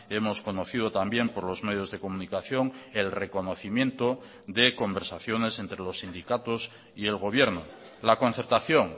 hemos conocido también por los medios de comunicación el reconocimiento de conversaciones entre los sindicatos y el gobierno la concertación